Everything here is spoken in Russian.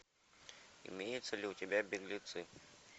имеется ли у тебя беглецы